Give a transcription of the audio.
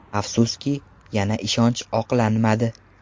Afsuski, yana ishonch oqlanmadi.